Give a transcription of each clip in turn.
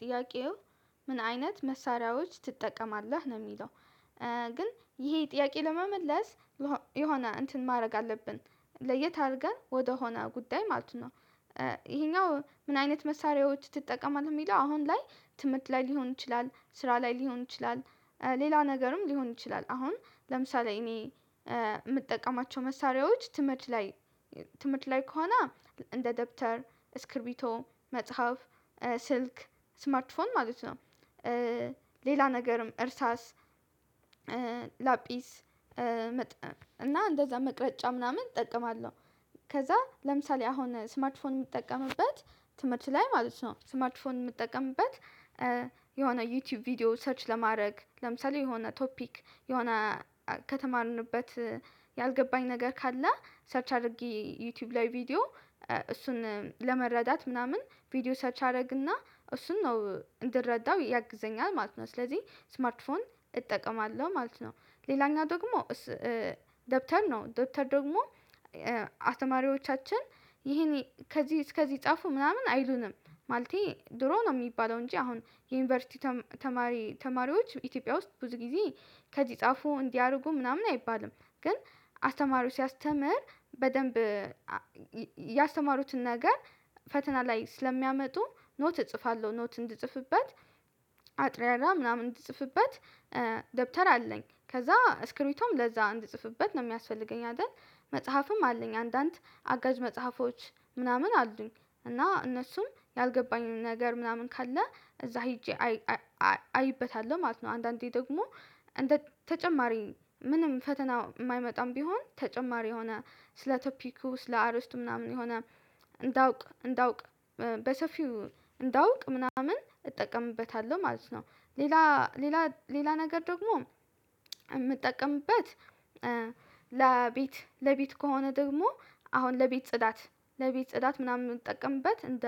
ጥያቄው ምን አይነት መሳሪያዎች ትጠቀማለህ? ነው የሚለው ግን ይሄ ጥያቄ ለመመለስ የሆነ እንትን ማድረግ አለብን ለየት አድርገን ወደሆነ ጉዳይ ማለት ነው ይሄኛው ምን አይነት መሳሪያዎች ትጠቀማለህ? የሚለው አሁን ላይ ትምህርት ላይ ሊሆን ይችላል ስራ ላይ ሊሆን ይችላል ሌላ ነገርም ሊሆን ይችላል አሁን ለምሳሌ እኔ የምጠቀማቸው መሳሪያዎች ትምህርት ላይ ትምህርት ላይ ከሆነ እንደ ደብተር ስክርቢቶ መጽሐፍ ስልክ ስማርትፎን ማለት ነው ሌላ ነገርም እርሳስ ላጲስ መጥ እና እንደዛ መቅረጫ ምናምን እጠቀማለሁ ከዛ ለምሳሌ አሁን ስማርት ፎን የምጠቀምበት ትምህርት ላይ ማለት ነው ስማርት ፎን የምጠቀምበት የሆነ ዩቲዩብ ቪዲዮ ሰርች ለማድረግ ለምሳሌ የሆነ ቶፒክ የሆነ ከተማርንበት ያልገባኝ ነገር ካለ ሰርች አድርጌ ዩቲዩብ ላይ ቪዲዮ እሱን ለመረዳት ምናምን ቪዲዮ ሰርች አደርግና እሱን ነው እንድረዳው ያግዘኛል ማለት ነው ስለዚህ ስማርት ፎን እጠቀማለሁ ማለት ነው ሌላኛው ደግሞ ደብተር ነው ደብተር ደግሞ አተማሪዎቻችን ይሄን ከዚህ እስከዚህ ጻፉ ምናምን አይሉንም ማለቴ ድሮ ነው የሚባለው እንጂ አሁን የዩኒቨርሲቲ ተማሪ ተማሪዎች ኢትዮጵያ ውስጥ ብዙ ጊዜ ከዚህ ጻፉ እንዲያ አርጉ ምናምን አይባልም ግን አስተማሪዎች ሲያስተምር በደንብ ያስተማሩትን ነገር ፈተና ላይ ስለሚያመጡ ኖት እጽፋለሁ ኖት እንድጽፍበት አጥሬራ ምናምን እንድጽፍበት ደብተር አለኝ ከዛ ስክሪንቶም ለዛ እንድጽፍበት ነው የሚያስፈልገኝ አይደል መጽሐፍም አለኝ አንዳንድ አጋዥ መጽሐፎች ምናምን አሉኝ እና እነሱም ያልገባኝን ነገር ምናምን ካለ እዛ ሄጄ አይበታለሁ ማለት ነው አንዳንዴ ደግሞ ተጨማሪ ምንም ፈተና የማይመጣም ቢሆን ተጨማሪ የሆነ ስለ ቶፒኩ ስለ አርስት ምናምን የሆነ እንዳውቅ እንዳውቅ በሰፊው እንዳውቅ ምናምን እጠቀምበታለሁ ማለት ነው ሌላ ሌላ ሌላ ነገር ደግሞ የምጠቀምበት ለቤት ለቤት ከሆነ ደግሞ አሁን ለቤት ጽዳት ለቤት ጽዳት ምናምን የምንጠቀምበት እንደ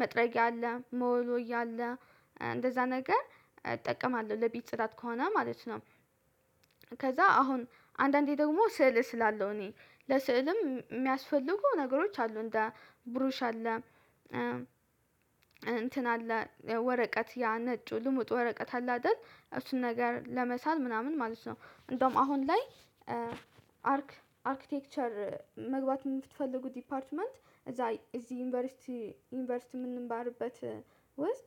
መጥረጊያ አለ መወልወያ አለ እንደዛ ነገር እጠቀማለሁ ለቤት ጽዳት ከሆነ ማለት ነው ከዛ አሁን አንዳንዴ ደግሞ ስዕል ስላለው እኔ ለሥዕልም የሚያስፈልጉ ነገሮች አሉ እንደ ብሩሽ አለ እንትን አለ ወረቀት ያ ነጩ ልሙጥ ወረቀት አለ አይደል እሱን ነገር ለመሳል ምናምን ማለት ነው እንደውም አሁን ላይ አርክ አርክቴክቸር መግባት የምትፈልጉት ዲፓርትመንት እዛ እዚህ ዩኒቨርሲቲ ዩኒቨርሲቲ የምንማርበት ውስጥ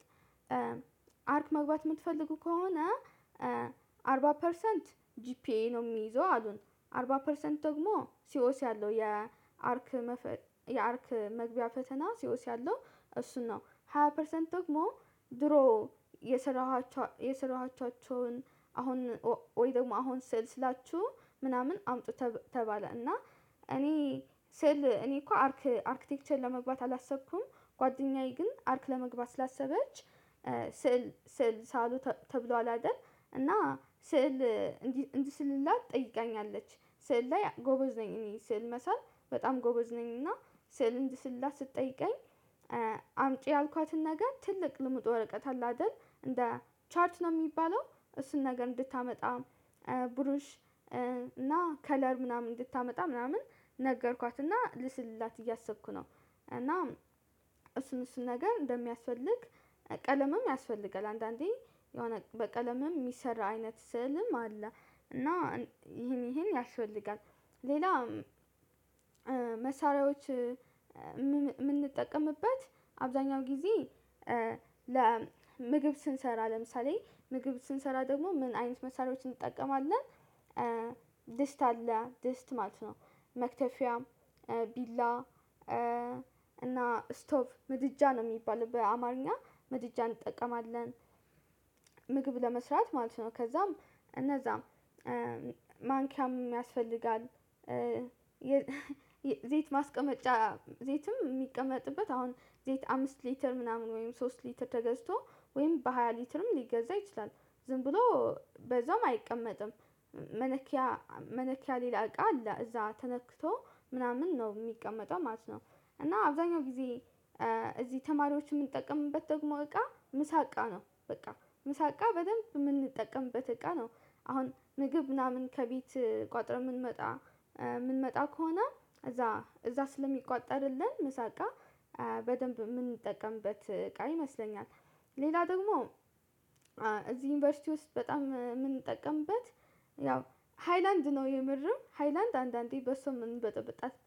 አርክ መግባት የምትፈልጉ ከሆነ አርባ ፐርሰንት ጂፒኤ ነው የሚይዘው አሉን አርባ ፐርሰንት ደግሞ ሲኦሲ አለው የአርክ መፈ የአርክ መግቢያ ፈተና ሲኦሲ አለው እሱን ነው ሃያ ፐርሰንት ደግሞ ድሮ የሰራኋቸው የሰራኋቻቸውን አሁን ወይ ደግሞ አሁን ስዕል ሥላችሁ ምናምን አምጡ ተባለ እና እኔ ሴል እኔ እኮ አርክ አርክቴክቸር ለመግባት አላሰብኩም ጓደኛዬ ግን አርክ ለመግባት ስላሰበች ስዕል ስዕል ሳሉ ተብሏል አይደል እና ስዕል እንድሥላት ጠይቀኛለች ስዕል ላይ ጎበዝ ነኝ እኔ ስዕል መሳል በጣም ጎበዝ ነኝና ስዕል እንድስላ ስትጠይቀኝ አምጪ ያልኳትን ነገር ትልቅ ልምጡ ወረቀት አለ አይደል እንደ ቻርት ነው የሚባለው እሱን ነገር እንድታመጣ ብሩሽ እና ከለር ምናምን እንድታመጣ ምናምን ነገርኳትና ልስልላት እያሰብኩ ነው እና እሱን እሱን ነገር እንደሚያስፈልግ ቀለምም ያስፈልጋል አንዳንዴ የሆነ በቀለምም የሚሰራ አይነት ስዕልም አለ እና ይሄን ይሄን ያስፈልጋል ሌላም መሳሪያዎች የምንጠቀምበት አብዛኛው ጊዜ ለምግብ ስንሰራ ለምሳሌ ምግብ ስንሰራ ደግሞ ምን አይነት መሳሪያዎችን እንጠቀማለን ድስት አለ ድስት ማለት ነው መክተፊያም ቢላ እና ስቶቭ ምድጃ ነው የሚባለው በአማርኛ ምድጃ እንጠቀማለን ምግብ ለመስራት ማለት ነው ከዛም እነዛም ማንኪያም ያስፈልጋል የዘይት ማስቀመጫ ዘይትም የሚቀመጥበት አሁን ዘይት አምስት ሊትር ምናምን ወይም ሶስት ሊትር ተገዝቶ ወይም በሃያ ሊትርም ሊገዛ ይችላል ዝም ብሎ በዛውም አይቀመጥም መለኪያ ሌላ እቃ እዛ ተለክቶ ምናምን ነው የሚቀመጠው ማለት ነው እና አብዛኛው ጊዜ እዚህ ተማሪዎች የምንጠቀምበት ደግሞ እቃ ምሳ እቃ ነው በቃ ምሳ እቃ በደንብ የምንጠቀምበት እቃ ነው አሁን ምግብ ምናምን ከቤት ቋጥረን የምንመጣ የምንመጣ ከሆነ እዛ እዛ ስለሚቋጠርልን መሳቃ በደንብ የምንጠቀምበት ቃል ይመስለኛል ሌላ ደግሞ እዚህ ዩኒቨርሲቲ ውስጥ በጣም የምንጠቀምበት ያው ሃይላንድ ነው የምርም ሃይላንድ አንዳንዴ በሶም የምንበጠበጣት